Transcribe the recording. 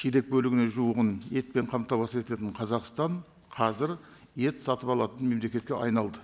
шидек бөлігіне жуығын етпен қамтамасыз ететін қазақстан қазір ет сатып алатын мемлекетке айналды